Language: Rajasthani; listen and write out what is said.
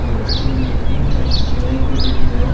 और अठीने ईटा की चिराई करेडी है।